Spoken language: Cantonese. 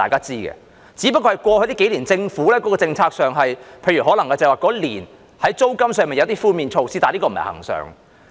只不過在過去數年，政府在政策上，在某年推出租金寬免措施，但這並不是恆常。